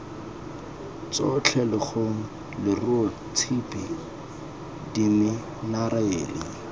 tsotlhe lekgong leruo tshipi diminerale